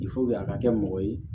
a ka kɛ mɔgɔ ye